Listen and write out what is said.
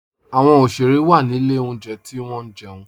Awọn oṣere wa ni ilẹ̀ ọ̀njẹ̀ ti wọn jẹun